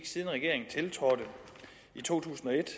siden regeringen tiltrådte i to tusind og et